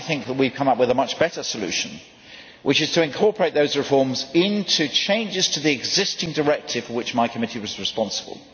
I think that we have come up with a much better solution, which is to incorporate those reforms into changes to the existing directive for which my committee was responsible.